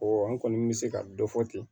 Ɔ an kɔni bɛ se ka dɔ fɔ ten